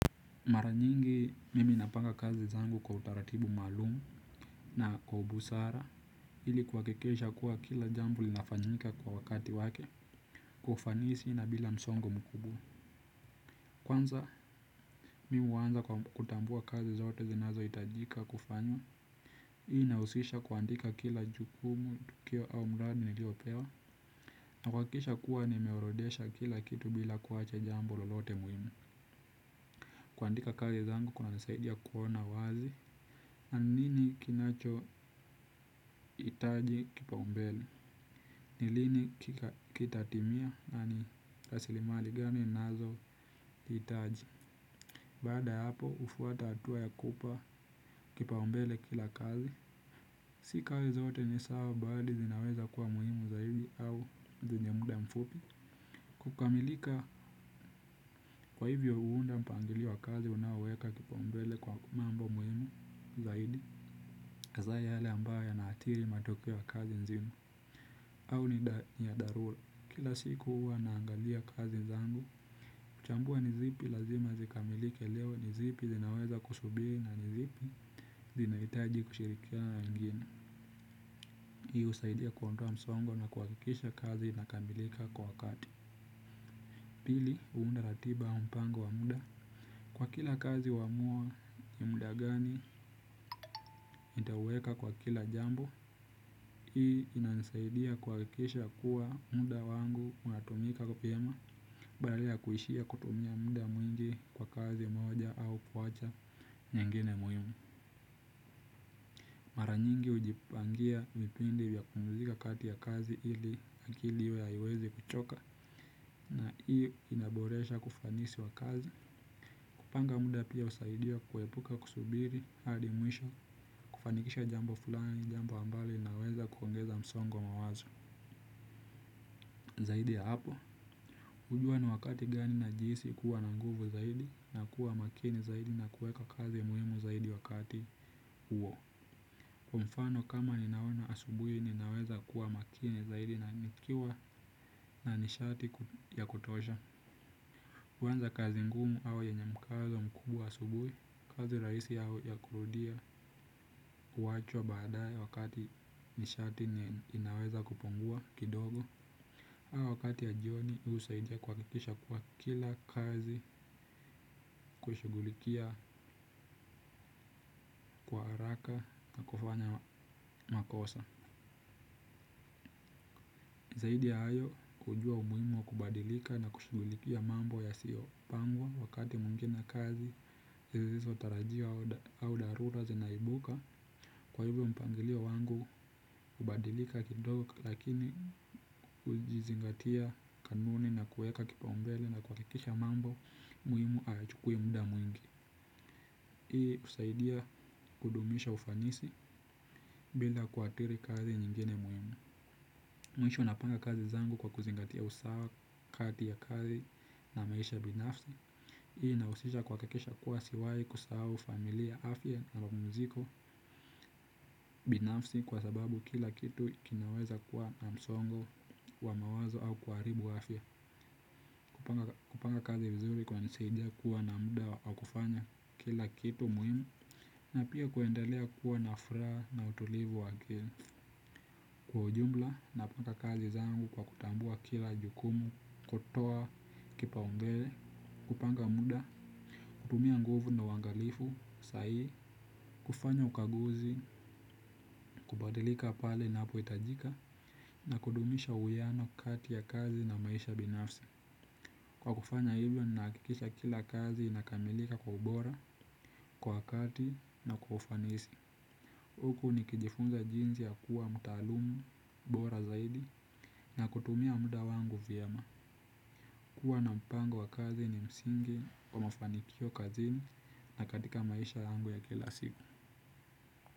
Mara nyingi mimi napanga kazi zangu kwa utaratibu maalumu na kwa ubusara ili kuhakikisha kuwa kila jambo linafanyika kwa wakati wake kwa ufanisi na bila msongo mkubwa. Kwanza mimi huanza kwa kutambua kazi zote zinazohitajika kufanywa. Hii inahusisha kuandika kila jukumu tukio au mradi niliyopewa na kuhakikisha kuwa nimeorodhesha kila kitu bila kuacha jambo lolote muhimu. Kuandika kazi zangu kunanisaidia kuona wazi. Na nini kinachohitaji kipaumbele. Ni lini kitatimia na ni rasilimali gani ninazohitaji. Baada ya hapo hufuata hatua ya kupa kipaumbele kila kazi. Si kazi zote ni sawa bali zinaweza kwa muhimu zaidi au zenye muda mfupi. Kukamilika kwa hivyo huunda mpangilio wa kazi unaoweka kipaumbele kwa mambo muhimu zaidi hasa yale ambayo yanathiri matokeo ya kazi nzima. Au ni ya dharura. Kila siku huwa naangalia kazi zangu. Kutambua nizipi lazima zikamilike leo nizipi zinaweza kusubiri na nizipi zinahitaji kushirikiana na wengine. Hii husaidia kuondoa msongo na kuhakikisha kazi inakamilika kwa wakati. Pili, huunda ratiba au mpango wa muda. Kwa kila kazi huamua ni muda gani, itaweka kwa kila jambo. Hii inanisaidia kuhakikisha kuwa muda wangu unatumika vyema. Badala ya kuishia kutumia muda mwingi kwa kazi moja au kuacha nyengine muhimu. Mara nyingi hujipangia vipindi vya kupumzika kati ya kazi ili akili iwe haiwezi kuchoka. Na hiyo inaboresha kufanisi wa kazi. Kupanga muda pia husaidia kuepuka kusubiri. Hadi mwisho kufanikisha jambo fulani jambo ambalo inaweza kuongeza msongo wa mawazo. Zaidi ya hapo hujua ni wakati gani na jinsi kuwa na nguvu zaidi na kuwa makini zaidi na kuweka kazi muhimu zaidi wakati huo. Kwa mfano kama ninaona asubuhi ninaweza kuwa makini zaidi na nikiwa na nishati ya kutosha. Kuanza kazi ngumu au yenye mkazo mkubwa asubuhi, kazi rahisi au ya kurudia huachwa baadaye wakati nishati inaweza kupungua kidogo. Au wakati ya jioni husaidia kuhakikisha kuwa kila kazi kushughulikia haraka na kufanya makosa. Zaidi ya hayo kujua umuhimu wa kubadilika na kushughulikia mambo yasiyopangwa wakati mwingine kazi zisizotarajiwa au dharura zinaibuka. Kwa hivyo mpangilio wangu kubadilika kidogo lakini hujizingatia kanuni na kuweka kipaumbele na kuhakikisha mambo muhimu hayachukui muda mwingi. Hii husaidia kudumisha ufanisi bila kuathiri kazi nyingine muhimu. Mwisho napanga kazi zangu kwa kuzingatia usawa kati ya kazi na maisha binafsi. Hii inahusisha kuhakikisha kuwa siwahi kusahau familia afya na mapumziko binafsi. Kwa sababu kila kitu kinaweza kuwa na msongo wa mawazo au kuharibu afya. Kupanga kazi vizuri kunanisaidia kuwa na muda wa kufanya kila kitu muhimu. Na pia kuendelea kuwa na furaha na utulivu wa akili. Kwa ujumla napanga kazi zangu kwa kutambua kila jukumu, kutoa, kipaumbele, kupanga muda, kutumia nguvu na uangalifu, sahihi, kufanya ukaguzi, kubadilika pale inapohitajika, na kudumisha uwiano kati ya kazi na maisha binafsi. Kwa kufanya hivyo nahakikisha kila kazi inakamilika kwa ubora, kwa wakati na kwa ufanisi huku nikijifunza jinsi ya kuwa mtaalamu, bora zaidi, na kutumia muda wangu vyema. Kuwa na mpango wa kazi ni msingi wa mafanikio kazini na katika maisha yangu ya kila siku.